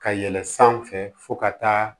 Ka yɛlɛ sanfɛ fo ka taa